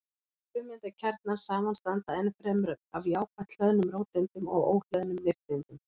Frumeindakjarnar samanstanda ennfremur af jákvætt hlöðnum róteindum og óhlöðnum nifteindum.